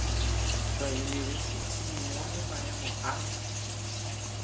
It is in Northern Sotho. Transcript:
tšwa yunibesithing gomme maemo a